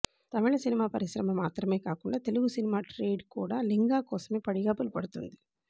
తమిళ cinema పరిశ్రమ మాత్రమే కాకుండా తెలుగు సినిమా ట్రేడ్ కూడా లింగ కోసమే పడిగాపులు పడుతోంది